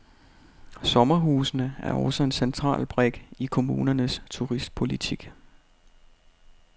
Sommerhusene er også en central brik i kommunernes turistpolitik.